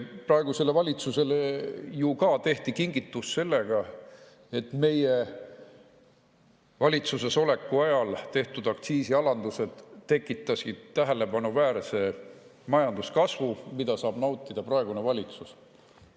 Praegusele valitsusele ju ka tehti kingitus sellega, et meie valitsusesoleku ajal tehtud aktsiisialandused tekitasid tähelepanuväärse majanduskasvu, mida saab praegune valitsus nautida.